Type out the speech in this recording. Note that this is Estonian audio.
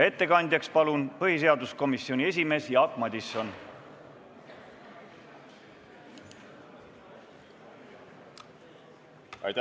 Ettekandeks palun kõnetooli põhiseaduskomisjoni esimehe Jaak Madisoni!